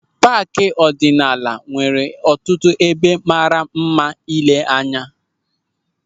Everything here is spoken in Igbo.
Paaki ọdịnala nwere ọtụtụ ebe mara mma ile anya.